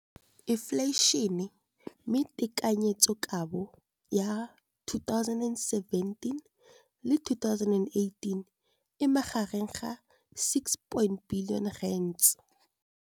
Infleišene, mme tekanyetsokabo ya 2017, 18, e magareng ga R6.4 bilione.